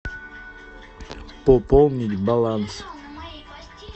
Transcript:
пополнить баланс